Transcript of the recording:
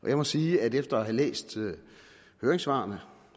jeg må sige at efter at have læst høringssvarene